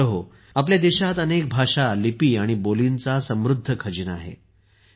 मित्रहो आपल्या देशात अनेक भाषा लिपी आणि बोलींचा समृद्ध खजिना आहे